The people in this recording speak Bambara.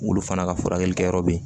Olu fana ka furakɛli kɛyɔrɔ be yen